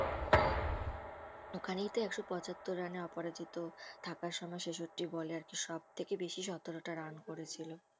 ওখানেই তো একশো পঁচাত্তর রানে অপরাজিত থাকার সময় ছেষট্টি বলে আরকি সব থেকে বেশি সতেরোটা রান করেছিল